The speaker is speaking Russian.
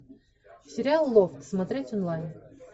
сериал лофт смотреть онлайн